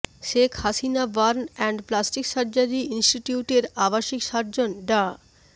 Sheikh Hasina burn and plastic surgery ইনিস্টিটিউটের আবসিক surgeon ডা